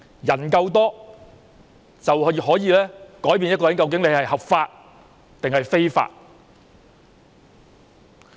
人數多就可以改變行為合法還是非法。